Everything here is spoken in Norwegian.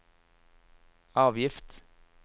avgift